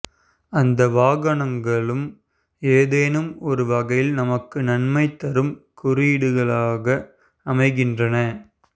அந்த வாகனங்களும் ஏதேனும் ஒரு வகையில் நமக்கு நன்மை தரும் குறியீடுகளாக அமைகின்றன